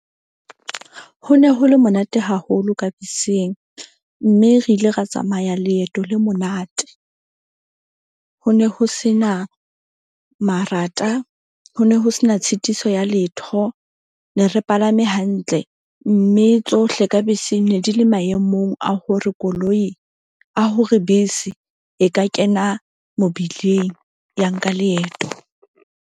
Ho ne ho le monate haholo ka beseng. Mme re ile ra tsamaya leeto le monate. Ho ne ho se na marata, ho ne ho sena tshitiso ya letho. Ne re palame hantle mme tsohle ka beseng ne di le maemong a hore koloi, a hore bese e ka kena mobileng, ya nka leeto.